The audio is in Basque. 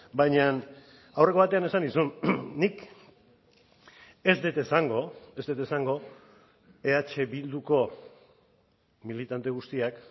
baina aurreko batean esan nizun nik ez dut esango ez dut esango eh bilduko militante guztiak